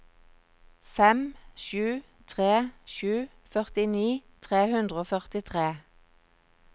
fem sju tre sju førtini tre hundre og førtitre